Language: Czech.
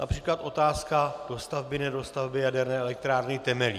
Například otázka dostavby - nedostavby Jaderné elektrárny Temelín.